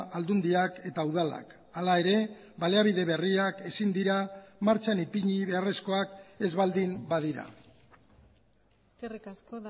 aldundiak eta udalak hala ere baliabide berriak ezin dira martxan ipini beharrezkoak ez baldin badira eskerrik asko